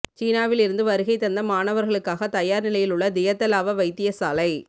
சீனாவில் இருந்து வருகை தந்த மாணவர்களுக்காக தயார் நிலையிலுள்ள தியத்தலாவ வைத்தியசாலை